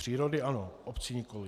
Přírody ano, obcí nikoliv.